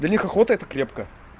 для них охото это крепко